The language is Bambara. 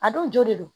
A dun jo don